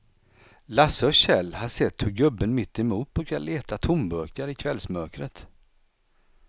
Lasse och Kjell har sett hur gubben mittemot brukar leta tomburkar i kvällsmörkret.